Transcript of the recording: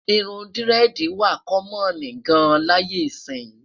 irún diredi wà kommon gán láyé isi